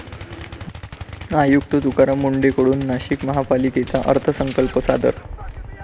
आयुक्त तुकाराम मुंढेंकडून नाशिक महापालिकेचा अर्थसंकल्प सादर